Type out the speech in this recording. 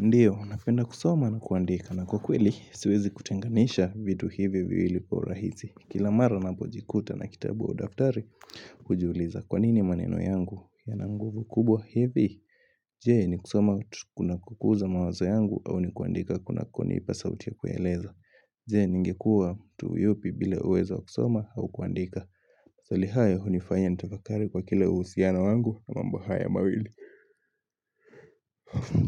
Ndiyo, napenda kusoma na kuandika na kwa kweli siwezi kutenganisha vitu hivi viwili kwa urahisi. Kila mara napojikuta na kitabu au daftari, hujiuliza kwanini maneno yangu yana nguvu kubwa hivi. Je, ni kusoma kuna kukuza mawazo yangu au ni kuandika kunakonipa sauti ya kueleza. Je, ningekuwa mtu yupi bila uwezo wa kusoma au kuandika. Swali hayo, hunifanya nitafakari kwa kila uhusiano wangu na mambo hayo mawili.